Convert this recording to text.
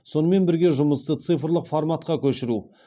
сонмен бірге жұмысты цифрлық форматқа көшіру